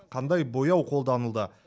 қандай бояу қолданылды